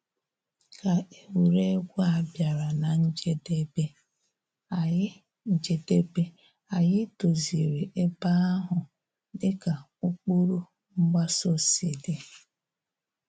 Ka egwuregwu a bịara na njedebe, anyị njedebe, anyị doziri ebe ahụ dịka ụkpụrụ mgbaso si dị